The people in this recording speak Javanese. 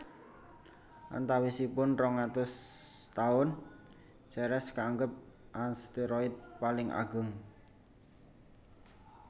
Antawisipun rong atus taun Ceres kaanggep asteroid paling ageng